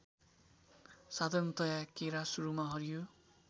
साधरणतया केरा सुरूमा हरियो